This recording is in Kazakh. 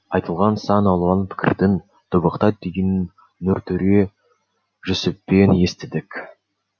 айтылған сан алуан пікірдің тобықтай түйінін нұртөре жүсіптен естідік